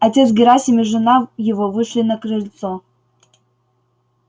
отец герасим и жена его вышли на крыльцо